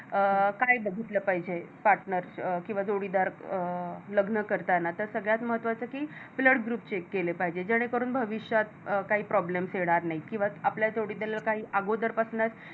अं काय बघितल पाहिजे Partner किंवा जोडीदार अ लग्न करतांना तर सगळ्यात महत्वाच कि Blood Group check केले पाहिजे जेणे करून भविष्यात अ काही Problems येणार नाही किंवा आपल्या काही जोडीदाराला अगोदर पासूनच